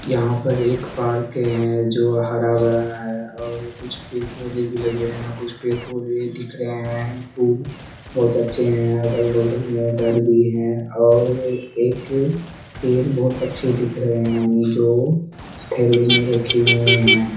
यहाँ पर एक पार्क है जो हर भरा है और कुछ पेड़-पोधे भी लगे हैं और कुछ पेड़-पोधे दिख रहें हैं। फूल बहुत अच्छे हैं। अगल-बगल में घर भी हैं और एक पेड़ बहुत अच्छे दिख रहें हैं जो थैले मे रखे हुए हैं।